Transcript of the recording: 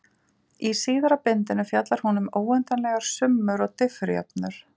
Í síðara bindinu fjallar hún um óendanlegar summur og diffurjöfnur.